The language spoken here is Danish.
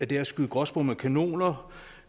det er at skyde gråspurve med kanoner